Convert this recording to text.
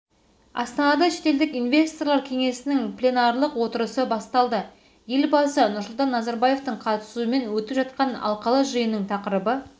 астанада шетелдік инвесторлар кеңесінің пленарлық отырысы басталды елбасы нұрсұлтан назарбаевтың қатысуымен өтіп жатқан алқалы жиынның тақырыбы